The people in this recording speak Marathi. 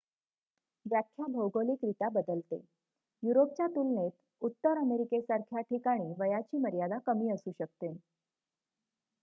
व्याख्या भौगोलिकरीत्या बदलते युरोपच्या तुलनेत उत्तर अमेरिकेसारख्या ठिकाणी वयाची मर्यादा कमी असू शकते